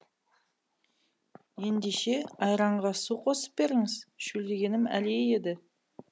ендеше айранға су қосып беріңіз шөлдегенім әлей еді